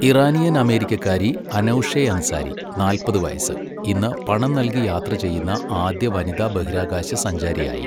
Iranian അമേരിക്കക്കാരി Anousheh Ansari, നാല്പത് വയസ്, ഇന്ന് പണം നൽകി യാത്ര ചെയ്യുന്ന ആദ്യ വനിതാ ബഹിരാകാശ സഞ്ചാരിയായി.